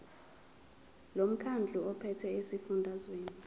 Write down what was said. lomkhandlu ophethe esifundazweni